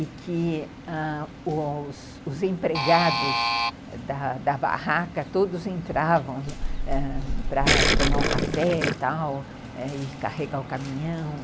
E que ãh os empregados da da barraca todos entravam ãh para tomar o café e tal, carregar o caminhão...